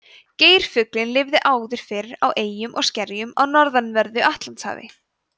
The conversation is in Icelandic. geirfuglinn lifði áður fyrr á eyjum og skerjum á norðanverðu atlantshafi